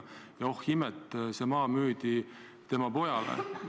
Ja oh imet, see maa müüdi tema pojale.